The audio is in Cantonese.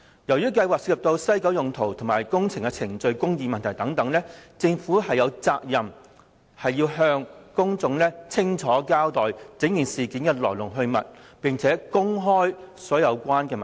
由於計劃涉及西九文化區用途及工程的程序公義問題，政府有責任向公眾清楚交代事件的來龍去脈，並公開所有相關文件。